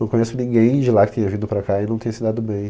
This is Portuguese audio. Não conheço ninguém de lá que tenha vindo para cá e não tenha se dado bem.